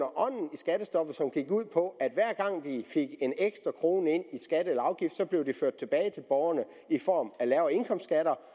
skattestoppet som gik ud på at hver gang vi fik en ekstra krone ind i skat og afgift blev den ført tilbage til borgerne i form af lavere indkomstskatter